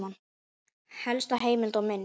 Helsta heimild og mynd